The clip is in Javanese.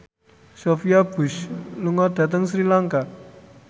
Sophia Bush lunga dhateng Sri Lanka